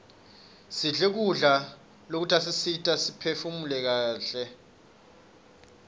sidle kudla lokutasisita siphefumule kaihle